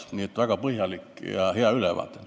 Nii et väga põhjalik ja hea ülevaade.